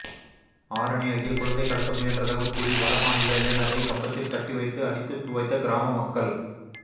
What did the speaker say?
ஆரணி அருகே குழந்தை கடத்த முயன்றதாகக் கூறி வடமாநில இளைஞரை கம்பத்தில் கட்டி வைத்து அடித்துத் துவைத்த கிராம மக்கள்